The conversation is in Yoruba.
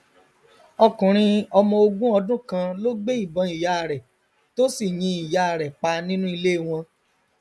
ọkùnrin ọmọ ogún ọdún kan ló gbé ìbọn ìyá rẹ tó sì yin ìyá rẹ pa nínú ilé wọn